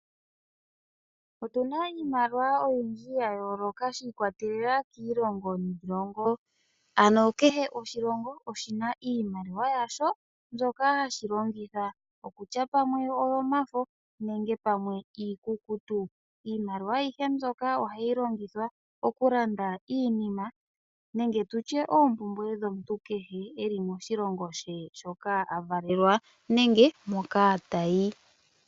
Otu na iimaliwa oyindji ya yooloka shiikwatelela kiilongo niilongo. Ano kehe oshilongo oshina iimaliwa yasho mbyoka hashi longitha, okutya pamwe oyo mafo nenge pamwe iikukutu. Iimaliwa ayihe mbyoka oha yi longithwa okulanda iinima nenge tutye oompumbwe dhomuntu kehe eli moshilongo she moka a valelwa nenge moka tayi.